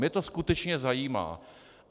Mne to skutečně zajímá.